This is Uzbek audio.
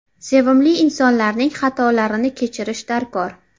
Sevimli insonlarning xatolarini kechirish darkor.